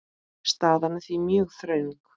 Staðan er því mjög þröng.